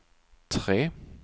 tre